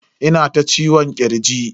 Ina ta ciwon kirji.